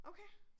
Okay